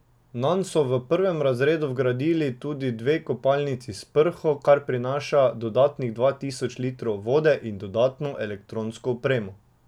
Nanj so v prvem razredu vgradili tudi dve kopalnici s prho, kar prinaša dodatnih dva tisoč litrov vode in dodatno elektronsko opremo.